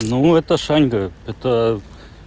ну это шаньга это